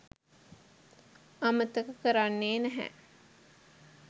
අමතක කරන්නේ නැහැ.